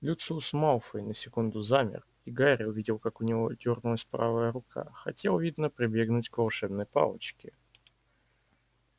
люциус малфой на секунду замер и гарри увидел как у него дёрнулась правая рука хотел видно прибегнуть к волшебной палочке